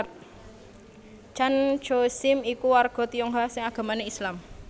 Tjan Tjoe Siem iku warga Tionghoa sing agamané Islam